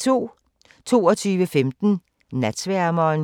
22:15: Natsværmeren